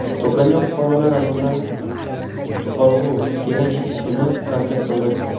To‘plangan fuqarolar asosan Juqorg‘u Kenesh ishini tanqid qildi.